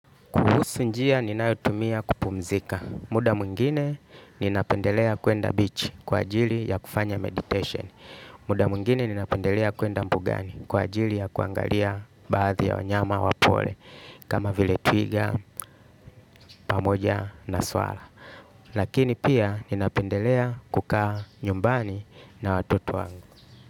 Kuhusu njia ninayotumia kupumzika. Muda mwingine ninapendelea kuenda bichi kwa ajili ya kufanya meditation. Muda mwingine ninapendelea kuenda mbugani kwa ajili ya kuangalia baadhi ya wanyama wa pori. Kama vile twiga, pamoja na swara. Lakini pia ninapendelea kukaa nyumbani na watoto wangu.